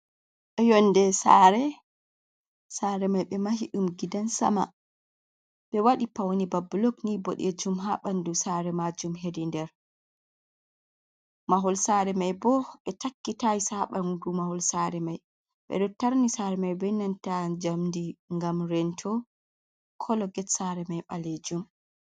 Yonnde saare, saare may ɓe mahi ɗum gidan sama be waɗi pawne ba bulok nii bodɗeejum haa ɓanndu saare maajum hedi nder mahol saare may boo ɓe takki taayis haa ɓanndu mahol saare may, ɓe ɗo taarni saare may bee nanta njamndi ngam rento kolo get saare may ɓaleejum.